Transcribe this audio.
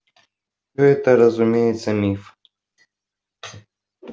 это разумеется миф